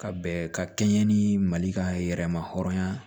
Ka bɛn ka kɛɲɛ ni mali ka yɛrɛma hɔrɔnya ye